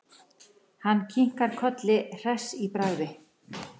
Hann kinkar kolli hress í bragði.